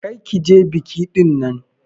Kar ki je biki dinnan!